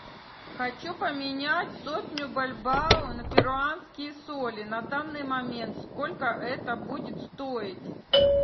хочу поменять сотню бальбоа на перуанские соли на данный момент сколько это будет стоить